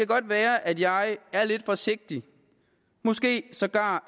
godt være at jeg er lidt forsigtig måske sågar